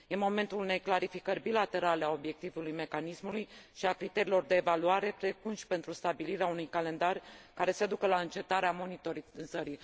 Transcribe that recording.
Este momentul unei clarificări bilaterale a obiectivului mecanismului și a criteriilor de evaluare, precum și pentru stabilirea unui calendar care să ducă la încetarea monitorizării.